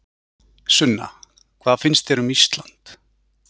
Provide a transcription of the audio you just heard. Sunna: Hvað finnst þér um Ísland?